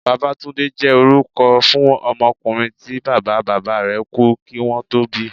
Babátúndé jẹ́ orúkọ fún ọmọkùnrin tí Bàbá bàbá rẹ̀ kú kí wón tó bíi.